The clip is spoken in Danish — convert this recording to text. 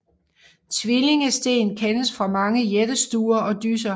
Tvillingesten kendes fra mange jættestuer og dysser